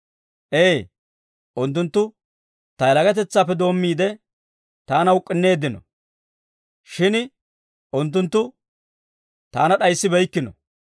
Ee, unttunttu ta yalagatetsaadeppe doommiide, taana uk'k'inneeddino; shin unttunttu taana d'ayissibeykkino.